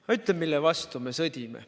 Ma ütlen, mille vastu me sõdime.